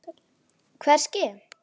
Hvað er að ske?